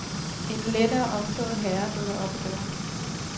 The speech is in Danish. En lettere omtåget herre dukker op i døren.